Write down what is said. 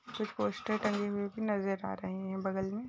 कुछ पोस्टर टंगे हुए भी नजर आ रहे हैं बगल में।